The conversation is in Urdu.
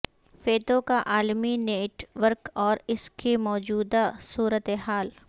فیتو کا عالمی نیٹ ورک اور اس کی موجودہ صورتحال